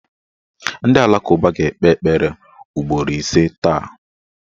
Ndị alakụba ga-ekpe ekpere ugboro ise taa